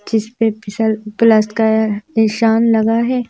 इस पे प्लस का निशान लगा है।